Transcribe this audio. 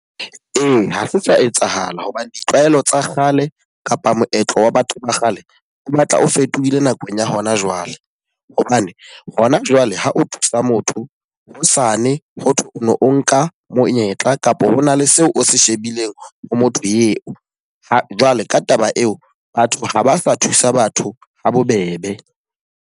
Ee, ha se sa etsahala hobane ditlwaelo tsa kgale kapa moetlo wa batho ba kgale, o batla o fetohile nakong ya hona jwale. Hobane ho na jwale ho o thusa motho hosane ho thwe o nka monyetla kapa hona le seo o se shebileng ho motho eo. Ha jwale ka taba eo, batho ha ba sa thusa batho ha bobebe.